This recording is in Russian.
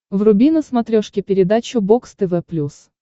вруби на смотрешке передачу бокс тв плюс